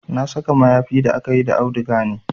Na saka mayafin da akayi da auduga ne